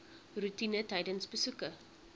roetine tydens besoeke